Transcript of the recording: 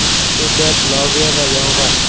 Ko‘kat, loviya va yong‘oq.